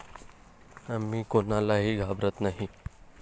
आम्ही कोणालाही घाबरत नाही!